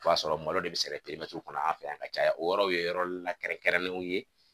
O y'a sɔrɔ malo de bɛ sɛnɛ kɔnɔ an fɛ yan ka caya o yɔrɔw ye yɔrɔ la kɛrɛnkɛrɛnnenw ye.